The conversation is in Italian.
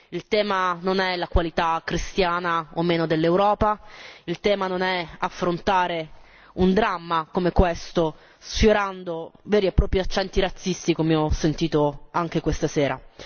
Il tema non è la qualità cristiana o meno dell'Europa, il tema non è affrontare un dramma come questo sfiorando veri e propri accenti razzisti, come ho sentito anche questa sera.